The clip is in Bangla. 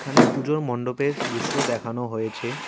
এখানে পুজোর মণ্ডপের দৃশ্য দেখানো হয়েছে।